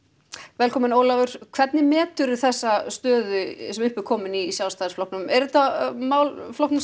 velkominn Ólafur hvernig meturðu þessa stöðu sem upp er komin í Sjálfstæðisflokknum er þetta mál flokknum